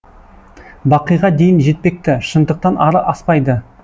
бақиға дейін жетпекті шындықтан ары аспайды